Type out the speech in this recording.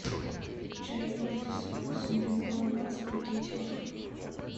чай кертис со вкусом лимона двадцать пакетиков